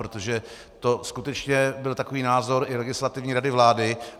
Protože to skutečně byl takový názor i Legislativní rady vlády.